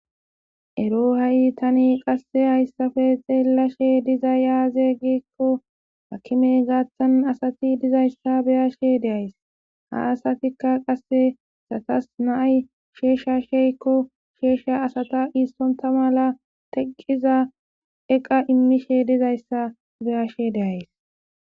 ero ha7i tani qasse hayssafe xeellashe diza aaze geekko akimey gaathtan asati dizayssa beyashe deays ha asatikka qasse satas naay sheeshsha sheykko sheeshsha asata iissonta mala teqqiza eqa immishe dizayssa beyashe deays